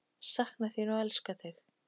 Sakna þín og elska þig.